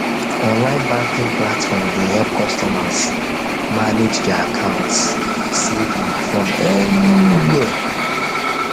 online banking platforms dey help customers manage thier accounts safely from anywhere